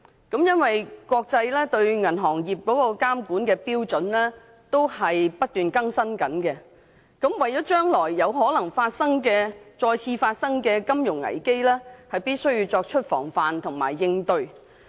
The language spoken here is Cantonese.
由於國際間對銀行業監管的標準不斷更新，考慮到將來有可能再次發生金融危機，故必須作出防範和應對。